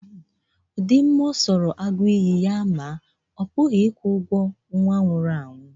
Ụdị mma ọ sọrọ agụ iyi ya maa, ọ pụghị ịkwụ ụgwọ nwa nwụrụ anwụ.